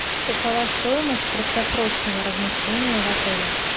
какова стоимость краткосрочного размещения в отеле